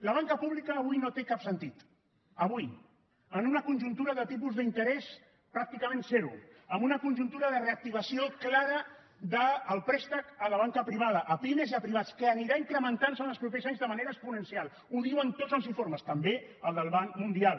la banca pública avui no té cap sentit avui en una conjuntura de tipus d’interès pràcticament zero en una conjuntura de reactivació clara del préstec a la banca privada a pimes i a privats que anirà incrementant se en els propers anys de manera exponencial ho diuen tots els informes també el del banc mundial